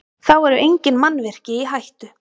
Þá eru engin mannvirki í hættu